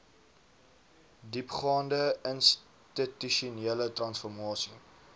diepgaande institusionele transformasie